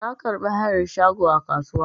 Na karɓi hayan shago a kasuwa.